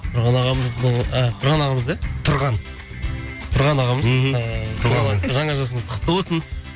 тұрған ағамызды ол а тұран ағамызды иә тұрған тұрған ағамыз мхм жаңа жасыңыз құтты болсын